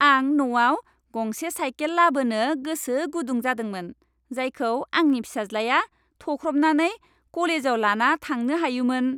आं न'आव गंसे साइकेल लाबोनो गोसो गुदुं जादोंमोन, जायखौ आंनि फिसाज्लाया थख्रबनानै क'लेजाव लाना थांनो हायोमोन।